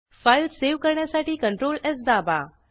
file save करण्यासाठी ctrls दाबा